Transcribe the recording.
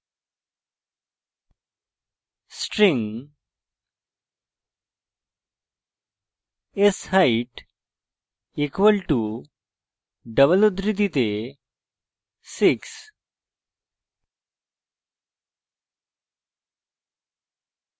string sheight equal to double উদ্ধৃতিতে 6